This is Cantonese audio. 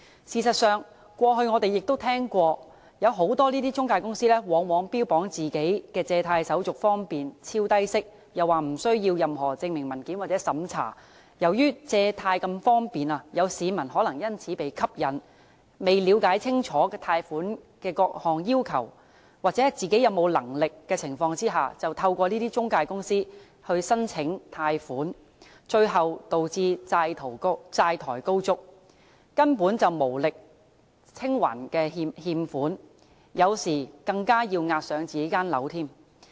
事實上，過去我們亦曾聽過，坊間有不少中介公司往往標榜其借貸手續方便、超低息，又聲稱無須任何證明文件或審查，由於借貸方便，市民可能因而被吸引，在未了解清楚貸款的各項要求或自己還款能力的情況下，便透過這些中介公司申請貸款，最後導致債台高築，根本無力清還欠款，有時更要押上自己的房產。